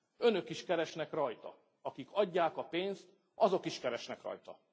Önök is keresnek rajta, akik adják a pénzt, azok is keresnek rajta.